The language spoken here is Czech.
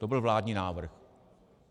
To byl vládní návrh.